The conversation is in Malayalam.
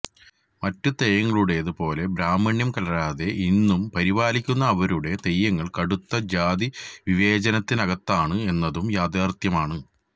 മറ്റു തെയ്യങ്ങളുടേത് പോലെ ബ്രാഹ്മണ്യം കലരാതെ ഇന്നും പരിപാലിക്കുന്ന അവരുടെ തെയ്യങ്ങള് കടുത്ത ജാതി വിവേചനത്തിനകത്താണ് എന്നതും യാഥാര്ത്ഥ്യമാണ്